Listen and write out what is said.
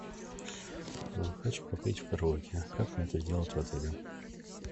хочу попеть в караоке как мне это сделать в отеле